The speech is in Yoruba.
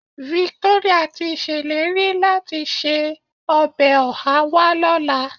Victoria ti ṣèlérí láti se ọbẹ̀ ọhá wá lọ́la.